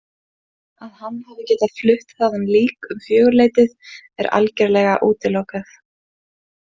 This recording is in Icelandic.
Að hann hafi getað flutt þaðan lík um fjögurleytið er algerlega útilokað.